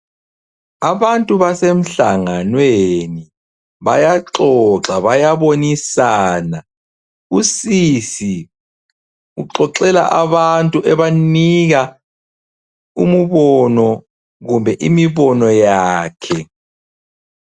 Abantu basemhlanganweni bayaxoxa bayabonisana usisi uxoxela abantu ebanika umbono kumbe imibono yakhe.